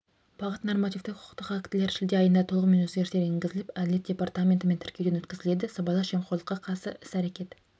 бағыт нормативтік-құқықтық актілер шілде айында толығымен өзгерістер енгізіліп әділет департаментінен тіркелуден өткізіледі сыбайлас жемқорлыққа қарсы іс-қимыл